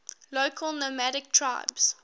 local nomadic tribes